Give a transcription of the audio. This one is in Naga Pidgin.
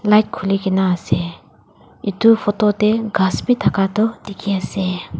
light khuli ke na ase etu photo teh ghass bhi thaka tu dikhi ase.